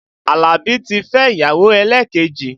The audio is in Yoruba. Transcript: Alabi ti fẹ́ ìyàwó elekeji